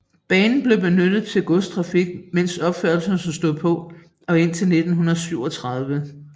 Banen blev benyttet til godstrafik mens opførelsen stod på og indtil 1937